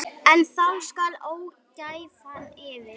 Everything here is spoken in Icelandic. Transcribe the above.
En þá skall ógæfan yfir.